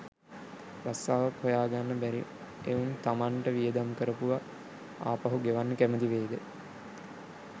රස්සාවක් හොය ගන්න බැරි එවුන් තමන්ට වියදම් කරපුව ආපහු ගෙවන්න කැමති වෙයිද